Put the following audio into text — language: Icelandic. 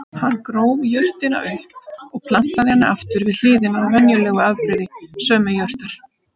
Hann gróf jurtina upp og plantaði henni aftur við hliðina á venjulegu afbrigði sömu jurtar.